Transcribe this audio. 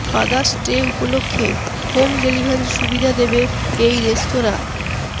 father's day উপলক্ষে home ডেলিভারির সুবিধা দেবে এই রেস্তোরাঁ